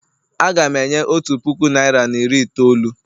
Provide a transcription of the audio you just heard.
Aga m enye otu puku naịra na iri itoolu.